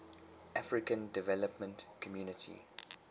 african development community